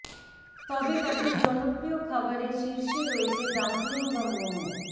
তবে তাদের জনপ্রিয় খাবারের শীর্ষে রয়েছে ডাম্পলিং বা মোমো